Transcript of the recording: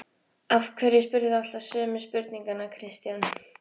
Af hverju spyrð þú alltaf sömu spurninganna Kristján?